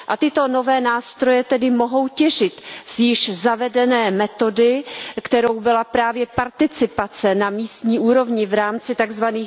Tyto nové nástroje tedy mohou těžit z již zavedené metody, kterou byla právě participace na místní úrovni v rámci tzv.